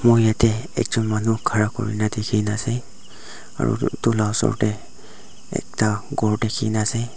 moi yatae ekjon manu khara kurina dikhina ase aro edu la osor tae ekta ghor dikhina ase.